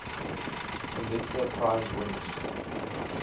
pulitzer prize winners